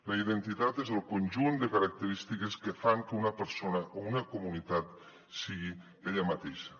la identitat és el conjunt de característiques que fan que una persona o una comunitat sigui ella mateixa